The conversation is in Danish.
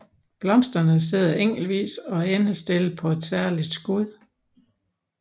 Blomsterne sidder enkeltvis og endestillet på et særligt skud